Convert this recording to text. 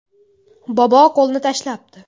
Bobo qo‘lni tashlabdi.